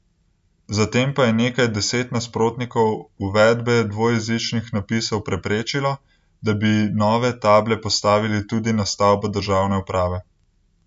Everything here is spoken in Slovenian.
Zatem pa je nekaj deset nasprotnikov uvedbe dvojezičnih napisov preprečilo, da bi nove table postavili tudi na stavbo države uprave.